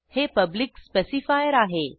हे public specifier आहे